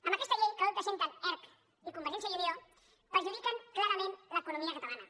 amb aquesta llei que avui presenten erc i convergència i unió perjudiquen clarament l’economia catalana